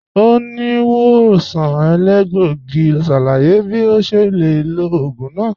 Oníwòsàn èlégbògì n ṣálàyé bí à ṣe lè lọ̀ oogun náà